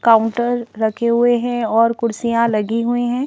Counter रखे हुए हैं और कुर्सियां लगी हुई हैं।